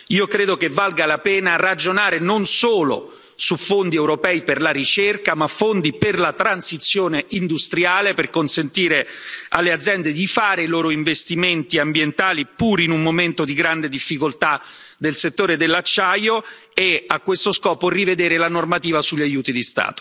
Io credo che valga la pena ragionare non solo su fondi europei per la ricerca, ma fondi per la transizione industriale, per consentire alle aziende di fare i loro investimenti ambientali, pur in un momento di grande difficoltà del settore dell'acciaio, e a questo scopo rivedere la normativa sugli aiuti di